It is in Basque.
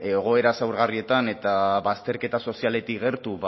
egoera zaurgarrietan eta bazterketa sozialetik gertu